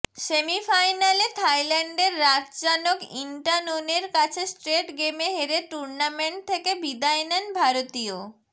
সেমিফাইনালে থাইল্যান্ডের রাতচানোক ইন্টানোনের কাছে স্ট্রেট গেমে হেরে টুর্নামেন্ট থেকে বিদায় নেন ভারতীয়